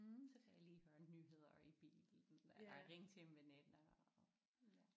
Så kan jeg lige høre nyheder i bilen eller ringe til en veninde og ja